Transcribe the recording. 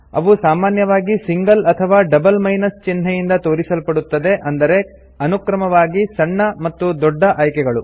ಅವು ಸಾಮಾನ್ಯವಾಗಿ ಸಿಂಗಲ್ ಅಥವಾ ಡಬಲ್ ಮೈನಸ್ ಚಿನ್ಹೆ ಇಂದ ತೋರಿಸಲ್ಪಡುತ್ತದೆ ಅಂದರೆ ಅನುಕ್ರಮವಾಗಿ ಸಣ್ಣ ಮತ್ತು ದೊಡ್ಡ ಆಯ್ಕೆಗಳು